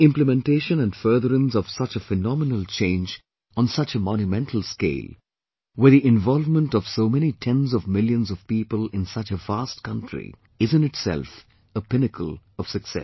The implementation and furtherance of such a phenomenal change on such a monumental scale, with the involvement of so many tens of millions of people in such a vast country, is in itself a pinnacle of success